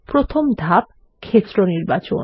প্রথম ধাপ ক্ষেত্র নির্বাচন